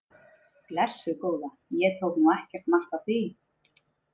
Blessuð góða, ég tók nú ekkert mark á því!